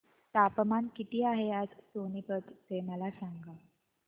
तापमान किती आहे आज सोनीपत चे मला सांगा